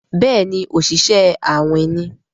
Béèni Oṣiṣẹ awin ní.